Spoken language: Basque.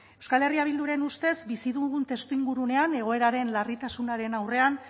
euskal herria bilduren ustez bizi dugun testuinguruan egoeraren larritasunaren aurrean